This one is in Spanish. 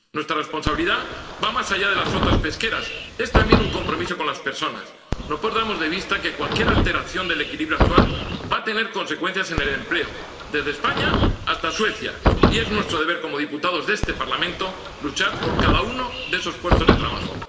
Nuestra responsabilidad va más allá de las flotas pesqueras es también un compromiso con las personas. No perdamos de vista que cualquier alteración del equilibrio actual va a tener consecuencias en el empleo, desde España hasta Suecia, y es nuestro deber como diputados de este Parlamento luchar por cada uno de esos puestos de trabajo.